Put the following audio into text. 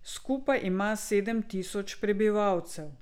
Skupaj ima sedem tisoč prebivalcev.